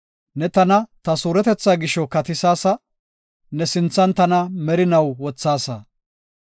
Ne tana ta suuretetha gisho katisaasa; ne sinthan tana merinaw wothaasa.